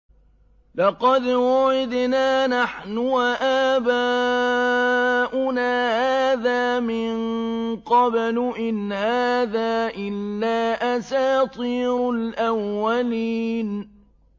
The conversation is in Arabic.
لَقَدْ وُعِدْنَا نَحْنُ وَآبَاؤُنَا هَٰذَا مِن قَبْلُ إِنْ هَٰذَا إِلَّا أَسَاطِيرُ الْأَوَّلِينَ